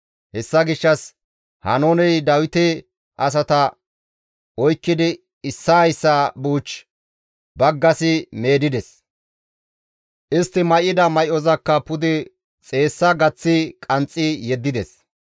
Hessa gishshas Haanooney Dawite asata oykkidi issaa issaa buuch baggasi meedides; istti may7ida may7ozakka pude xeessa gaththi qanxxi yeddides.